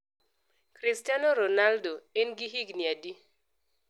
Kristano Ronaldo en gi higni adi